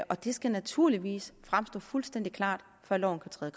og det skal naturligvis fremstå fuldstændig klart før loven kan træde